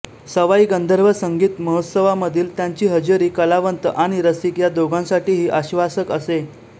सवाई गंधर्व संगीत महोत्सवामधील त्यांची हजेरी कलावंत आणि रसिक या दोघांसाठीही आश्वासक असे